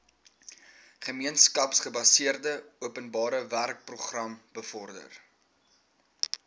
gemeenskapsgebaseerde openbarewerkeprogram bevorder